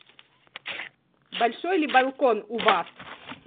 большой ли балкон у вас